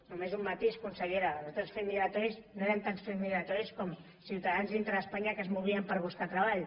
només un matís consellera els altres fets migratoris no eren tant fets migratoris com ciutadans dintre d’espanya que es movien per buscar treball